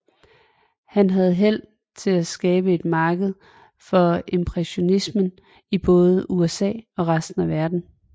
Han havde held til at skabe et marked for impressionismen i både USA og resten af verden